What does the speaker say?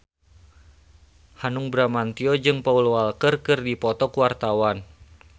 Hanung Bramantyo jeung Paul Walker keur dipoto ku wartawan